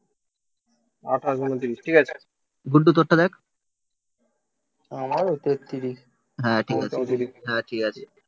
আঠাশ, ঊনত্রিশ, ঠিক আছে গুড্ডু তোর সাথে দেখ আমারও তেত্রিশ. হ্যাঁ ঠিক আছে হ্যাঁ ঠিক আছে